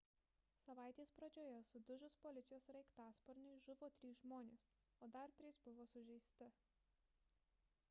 savaitės pradžioje sudužus policijos sraigtasparniui žuvo trys žmonės o dar trys buvo sužeisti